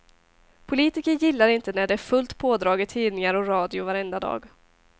Politiker gillar inte när det är fullt pådrag i tidningar och radio varenda dag.